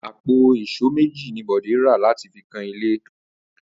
Àpò ìs̩ó méjì ni Bòdé rà láti fi kan ilé rè̩